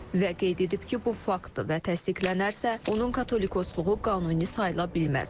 və qeyd edib ki, bu fakt təsdiqlənərsə, onun katolikosluğu qanuni sayıla bilməz.